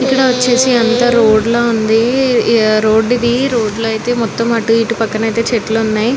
ఇక్కడ వచ్చేసి అంత రోడ్ లా ఉంది ఆ రోడ్ ఇది రోడ్ లో అయితే మొతం అటు ఎటు పక్కన అయితే చెట్లు ఉనై .